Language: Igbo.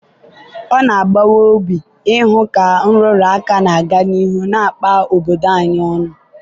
ọ na-agbawa obi ịhụ ka nrụrụ aka na-aga n'ihu na-akpa obodo anyị ọnụ.